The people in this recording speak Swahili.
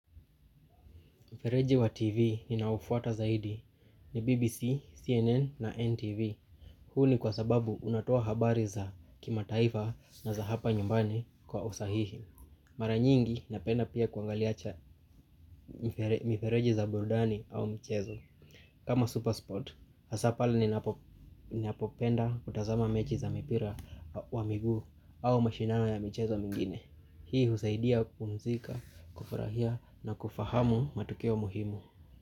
Mfereji wa TV ninaofuata zaidi ni BBC, CNN na NTV. Huu ni kwasababu unatoa habari za kimataifa na za hapa nyumbani kwa usahihi. Mara nyingi napenda pia kuangalia cha, mifereji za burudani au michezo. Kama Supersport, hasa pale ninapopenda kutazama mechi za mipira wa miguu au mashindano ya michezo mingine. Hii husaidia kupumzika, kufurahia na kufahamu matokeo muhimu.